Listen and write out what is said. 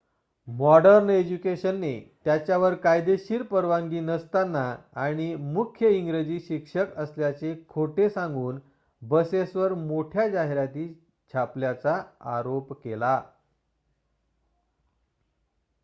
modern इज्युकेशनने त्याच्यावर कायदेशीर परवानगी नसताना आणि मुख्य इंग्रजी शिक्षक असल्याचे खोटे सांगून बसेसवर मोठ्या जाहिराती छापल्याचा आरोप केला